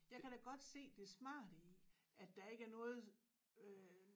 Jeg kan da godt se det smarte i at der ikke er noget øh